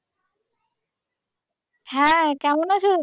হ্যাঁ কেমন আছো?